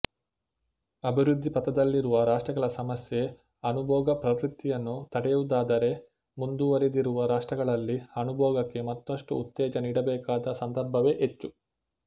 ಅಭಿವೃದ್ಧಿ ಪಥದಲ್ಲಿರುವ ರಾಷ್ಟ್ರಗಳ ಸಮಸ್ಯೆ ಅನುಭೋಗಪ್ರವೃತ್ತಿಯನ್ನು ತಡೆಹಿಡಿಯುವುದಾದರೆ ಮುಂದುವರಿದಿರುವ ರಾಷ್ಟ್ರಗಳಲ್ಲಿ ಅನುಭೋಗಕ್ಕೆ ಮತ್ತಷ್ಟು ಉತ್ತೇಜನ ನೀಡಬೇಕಾದ ಸಂದರ್ಭವೇ ಹೆಚ್ಚು